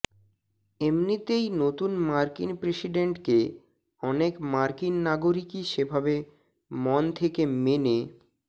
এমনিতেই নতুন মার্কিন প্রেসিডেন্টকে অনেক মার্কিন নাগরিকই সেভাবে মন থেকে মেনে